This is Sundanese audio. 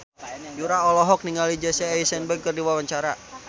Yura olohok ningali Jesse Eisenberg keur diwawancara